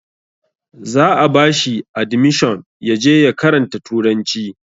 Za a ba shi adimishon ya je ya karanta turanci